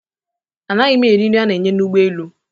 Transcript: A naghị m eri nri ana-enye n'ụgbọelu